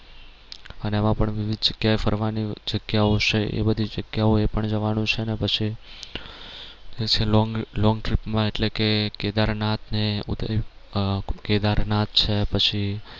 અને એમાં પણ વિવિધ જગ્યાએ ફરવાની જગ્યાઓ છે એ બધી જગ્યાઓ એ પણ જવાનું છે ને પછી long long trip માં એટલે કે કેદારનાથ ને આહ કેદારનાથ છે પછી